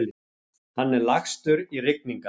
Hann er lagstur í rigningar.